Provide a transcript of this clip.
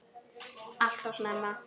Allt of snemma.